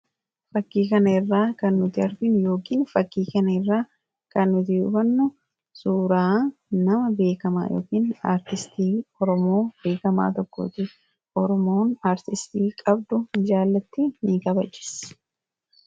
Fakkii kanarraa kan nuti arginu yookaan hubannu suuraa nama beekamaa yookaan artistii Oromoo beekamaa tokkooti. Oromoon artistii qabdu ni jaallatti; ni kabajjis.